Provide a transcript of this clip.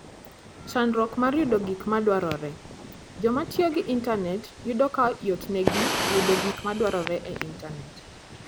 Chandruok mar Yudo Gik Madwarore: Joma tiyo gi intanet yudo ka yotnegi yudo gik ma gidwaro e intanet.